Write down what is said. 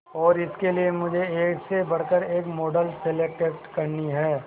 और इसके लिए मुझे एक से बढ़कर एक मॉडल सेलेक्ट करनी है